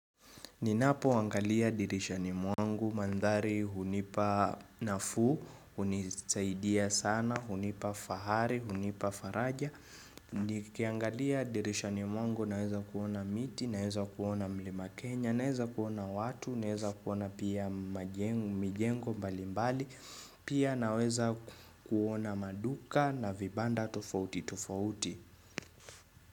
Ninapo angalia dirishani mwangu, mandhari, hunipa nafuu, hunisaidia sana, hunipa fahari, hunipa faraja. Nikiangalia dirishani mwangu, naweza kuona miti, naweza kuona mlima kenya, naweza kuona watu, naweza kuona pia mijengo mbali mbali, pia naweza kuona maduka na vibanda tofauti tofauti.